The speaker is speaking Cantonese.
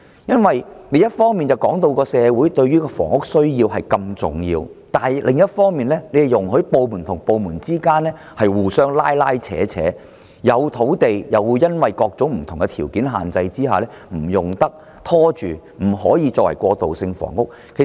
因為政府一方面指出房屋需要對社會如此重要，但另一方面卻容許多個部門互相拉扯，雖有土地卻又因為各種條件限制而拖延，以致未能作過渡性房屋的用途。